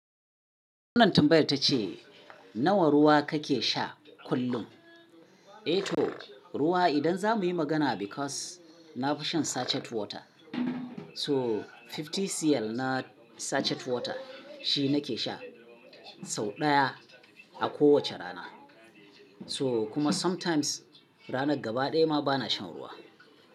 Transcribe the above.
Wannan tambayar ta ce nawa ruwa kake sha kullum? Eh to ruwa idan za mu yi magana because na fi shan sachet water. So fifty cl na sachet water shi nake sha sau ɗaya a kowace rana. So kuma sometimes ranar gaba ɗaya ma bana shan ruwa.